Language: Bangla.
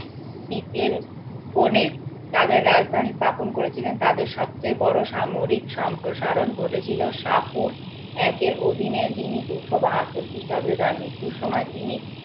তাদের রাজধানী স্থাপন করেছিল তাদের সবচেয়ে বড় সামরিক সম্প্রসারণ ঘটেছিল একের অধীনে যিনি দুশো বাহাত্তর খ্রিস্টাব্দে তার মৃত্যুর সময় তিনি